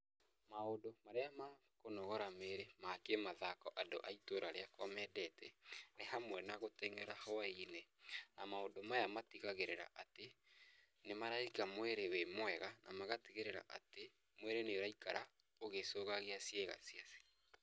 Maũndũ marĩa ma kũnogora mwĩrĩ ma kĩmathako andũ a itũra rĩakwa mendete, nĩ hamwe na gũteng'era hwai-inĩ, na maũndũ maya matigagĩrĩra atĩ nĩ maraiga mwĩrĩ wĩ mwega ,na magatigĩrĩra atĩ mwĩrĩ nĩ ũraikara ũgĩcũgagia ciĩga ciacio.